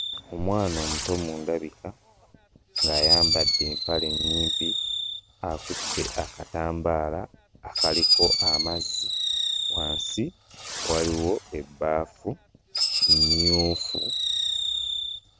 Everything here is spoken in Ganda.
Omwana omuto mu ndabika, ng'ayambadde empale nnyimpi, akutte akatambaala akaliko amazzi, wansi waliwo ebbaafu mmyufu.